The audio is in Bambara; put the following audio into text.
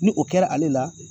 Ni o kɛra ale la.